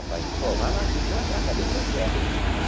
Rapaz, pô, vai lá, fica lá para cá, deixa eu quieto.